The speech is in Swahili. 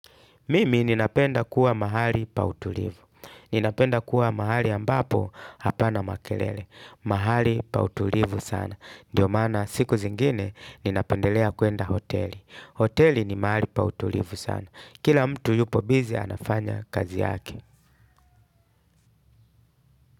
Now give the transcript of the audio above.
Mimi ninapenda kuwa mahali pa utulivu. Ninapenda kuwa mahali ambapo hapana makelele. Mahali pautulivu sana. Ndiyo maana siku zingine ninapendelea kuenda hoteli. Hoteli ni mahali pa utulivu sana. Kila mtu yupo busy anafanya kazi yake.